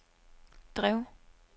drev